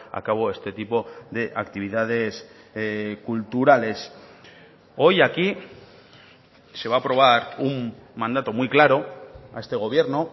a cabo este tipo de actividades culturales hoy aquí se va a aprobar un mandato muy claro a este gobierno